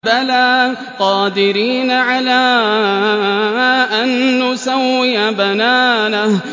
بَلَىٰ قَادِرِينَ عَلَىٰ أَن نُّسَوِّيَ بَنَانَهُ